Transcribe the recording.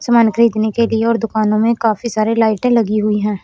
समान खरीदने के लिए और दुकानों में काफी सारी लाइट लगी हुई हैं।